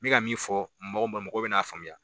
N bɛ ka min fɔ mɔgɔw ma mɔgɔ bɛna a faamuya.